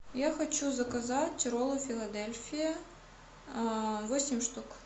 я хочу заказать роллы филадельфия восемь штук